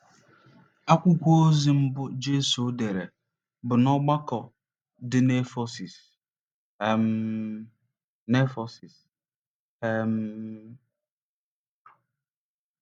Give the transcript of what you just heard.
Akwụkwọ ozi mbụ Jesu dere bụ n'ọgbakọ dị n'Efesọs um. n'Efesọs um.